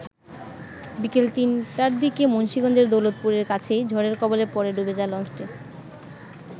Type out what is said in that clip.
বিকেল ৩ টার দিকে মুন্সিগঞ্জের দৌলতপুরের কাছেই ঝড়ের কবলে পড়ে ডুবে যায় লঞ্চটি।